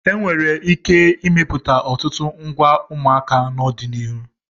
E nwere ike imepụta ọtụtụ ngwa ụmụaka n'ọdịnihu.